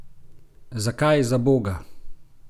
Zakaj, zaboga?